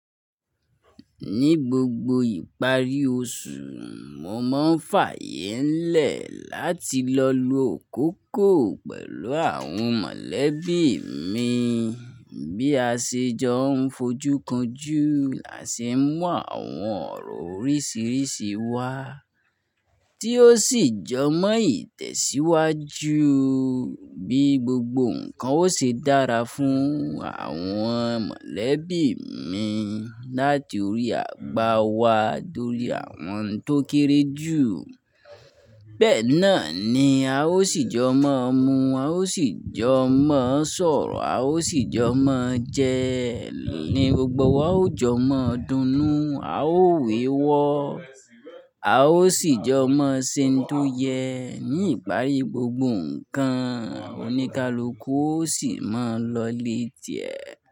Ní gbogbo ìparí oṣù, mo máa ń fààyè ńlẹ̀ láti lọ lo akókò pẹ̀lú àwọn mọ̀lẹ́bí mi bí a ṣe jọ ń fojú kan jú làsì mú àwọn ọ̀rọ̀ oríṣiríṣi wá tí ó sì jọ mọ ìtẹ̀síwájú bí gbogbo nǹkan ó ṣe dára fún àwọn mọ̀lẹ́bí mi láti orí àgbà wa dorí àwọn tó kéré jù. Bẹ́ẹ̀ náà ni a ó sì jọ mọ mu, a ó sì jọ mọ sọ̀rọ̀, a ó sì jọ mọ jẹ, ní gbogbo wá a ó jọ mọ dunú, a ó wéwọ́, a ó sì jọ mọ ṣe n tó yẹ ní ìparí gbogbo nǹkan oníkálukú ó sì máa lọ lé ti ẹ̀